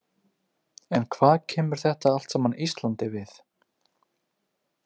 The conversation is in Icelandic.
En hvað kemur þetta allt saman Íslandi við?